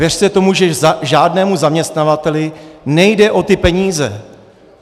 Věřte tomu, že žádnému zaměstnavateli nejde o ty peníze.